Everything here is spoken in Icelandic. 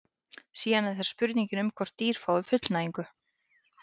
síðan er það spurningin um hvort dýr fái fullnægingu